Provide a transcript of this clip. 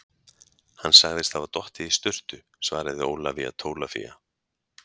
Hann sagðist hafa dottið í sturtu, svaraði Ólafía Tólafía.